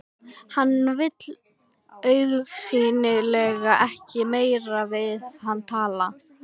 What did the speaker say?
Hann vill augsýnilega ekkert meira við hana tala.